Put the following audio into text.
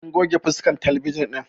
An goge fuskan talabijin ɗin